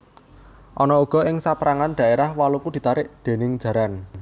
Ana uga ing sapérangan dhaérah waluku ditarik déning jaran